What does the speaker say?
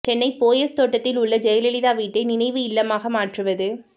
சென்னை போயஸ் தோட்டத்தில் உள்ள ஜெயலலிதா வீட்டை நினைவு இல்லமாக மாற்றுவது